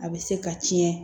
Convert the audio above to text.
A bɛ se ka tiɲɛ